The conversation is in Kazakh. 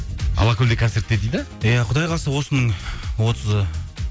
алакөлде концертте дейді иә құдай қаласа осының отызы